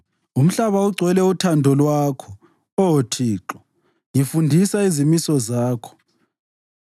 Umhlaba ugcwele uthando lwakho, Oh Thixo; ngifundisa izimiso zakho.